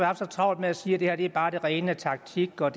har så travlt med at sige at det her bare er det rene taktik og